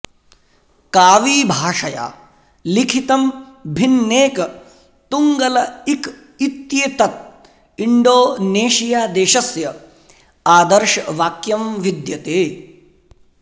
कावी भाषया लिखितं भिन्नेक तुंग्गल इक इत्येतत् इंडोनेशियादेशस्य आदर्शवाक्यं विद्यते